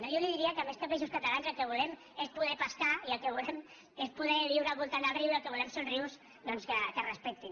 jo li diria que més que peixos catalans el que volem és poder pescar i el que volem és poder viure al voltant del riu i el que volem són rius doncs que es respectin